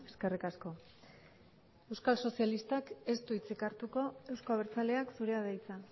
eskerrik asko euskal sozialistak ez du hitzik hartuko euzko abertzaleak zurea da hitza